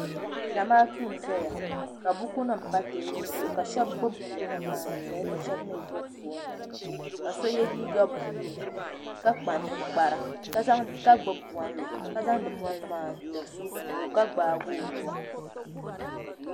Zamaatu n zaya ka bukunima pa teebuli zuɣu ka sheba gbibi bukunima maa n zaya ka sheba mee gbibi fooni nima ka so ye liiga buluu ka kpa ninkpara ka gbibi bolli ka zaŋdi bolli maa n tiri so ka gbaagi o nua.